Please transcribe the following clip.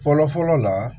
Fɔlɔ fɔlɔ la